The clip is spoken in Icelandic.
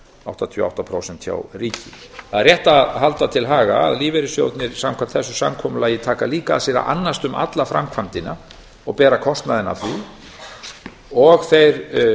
áttatíu og átta prósent hjá ríki það er rétt að halda til haga að lífeyrissjóðirnir samkvæmt þessu samkomulagi taka líka að sér að annast um alla framkvæmdina og bera kostnaðinn af því og þeir